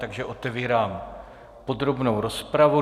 Takže otevírám podrobnou rozpravu.